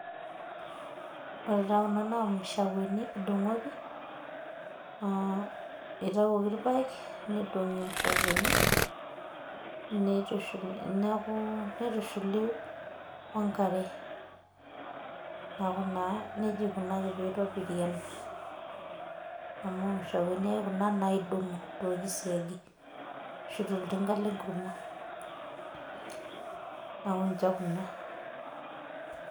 ore taa kunaa imashakweni edungoti,.itayioki irpaek nidongi imashakweni, nitushuli wenkare. neeku naa nejia eikunaki pee eitobiri ena. amu imashakweni ake kuna naidong'o torkisiagi ashu toltinga lenkurma.